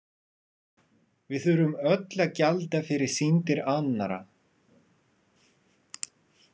Við þurfum öll að gjalda fyrir syndir annarra.